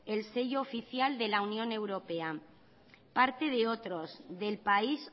el sello oficial de la unión europea parte de otros del país